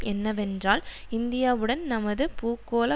என்னவென்றால் இந்தியாவுடன் நமது பூகோள